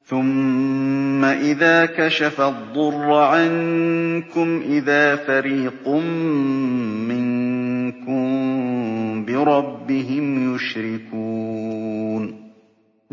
ثُمَّ إِذَا كَشَفَ الضُّرَّ عَنكُمْ إِذَا فَرِيقٌ مِّنكُم بِرَبِّهِمْ يُشْرِكُونَ